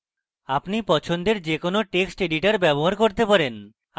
আপনি পছন্দের যে কোনো text editor ব্যবহার করতে পারেন